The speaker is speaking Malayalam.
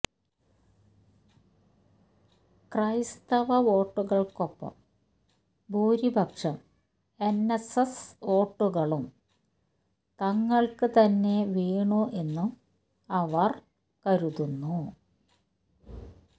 ക്രൈസ്തവ വോട്ടുകള്ക്കൊപ്പം ഭൂരിപക്ഷം എന്എസ്എസ് വോട്ടുകളും തങ്ങള്ക്ക് തന്നെ വീണു എന്നും അവര് കരുതുന്നു